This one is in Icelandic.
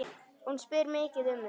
Hún spyr mikið um þig.